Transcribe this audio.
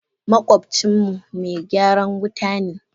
Makwabcin mu me gyaran wuta ne.